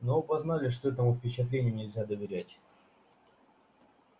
но оба знали что этому впечатлению нельзя доверять